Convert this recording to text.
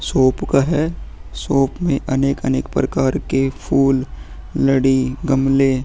shop का है shop में अनेक-अनेक प्रकार के फुल लड़ी गमले --